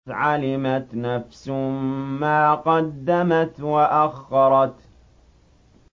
عَلِمَتْ نَفْسٌ مَّا قَدَّمَتْ وَأَخَّرَتْ